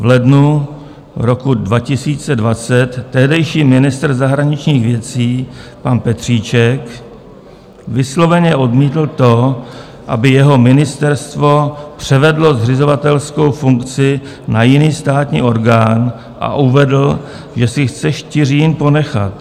V lednu roku 2020 tehdejší ministr zahraničních věcí pan Petříček vysloveně odmítl to, aby jeho ministerstvo převedlo zřizovatelskou funkci na jiný státní orgán, a uvedl, že si chce Štiřín ponechat.